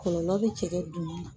Kɔlɔlɔ bɛ cɛkɛ dun na.